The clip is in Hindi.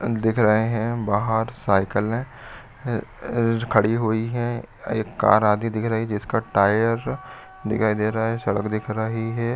दिख रहे है बाहर साइकिले ए खड़ी हुई है। एक कार आदि दिख रही है जिसका टायर दिखाई दे रहा है सड़क दिख रही है।